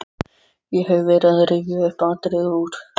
Ég hef verið að rifja upp atriði úr